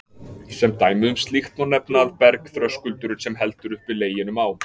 Sem dæmi um slíkt má nefna að bergþröskuldurinn, sem heldur uppi Leginum á